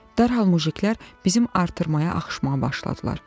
Dərhal mujiklər bizim artırmaya axışmağa başladılar.